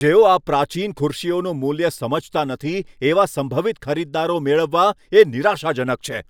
જેઓ આ પ્રાચીન ખુરશીઓનું મૂલ્ય સમજતા નથી એવા સંભવિત ખરીદદારો મેળવવા એ નિરાશાજનક છે.